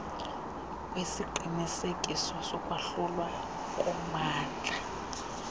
kwesiqinisekiso sokwahlulwa kommandla